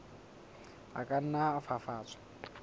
a ka nna a fafatswa